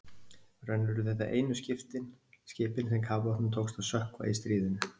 raunar urðu þetta einu skipin sem kafbátnum tókst að sökkva í stríðinu